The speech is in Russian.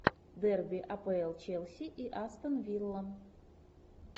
дерби апл челси и астон вилла